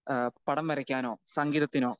speaker 2 ഏഹ് പടം വരയ്ക്കാനോ സംഗീതത്തിനോ